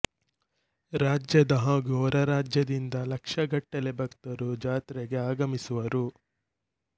ರಾಜ್ಯದ ಹಾಗೂ ಹೊರ ರಾಜ್ಯದಿಂದ ಲಕ್ಷಗಟ್ಟಲೇ ಭಕ್ತರು ಜಾತ್ರೆಗೆ ಆಗಮಿಸುವರು